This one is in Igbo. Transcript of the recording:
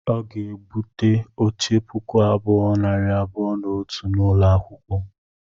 Ọ ga-egbute oche puku abụọ, nari abụọ na otu n'ụlọ akwụkwọ.